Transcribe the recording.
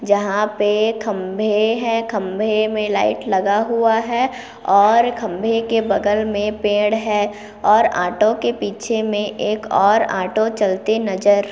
जहाँ पे खभे है खभे मे लाइट लगा हुआ है और खभे के बगल मे पेड़ है और आटो के पीछे मे एक और आटो चलती नजर--